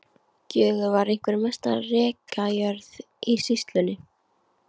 Gjögur var einhver mesta rekajörð í sýslunni.